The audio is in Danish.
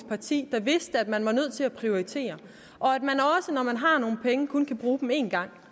parti der vidste at man er nødt til at prioritere og at når man har nogle penge kun kan bruge dem en gang